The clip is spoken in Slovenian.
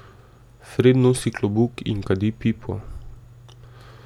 Fred nosi klobuk in kadi pipo.